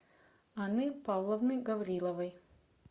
анны павловны гавриловой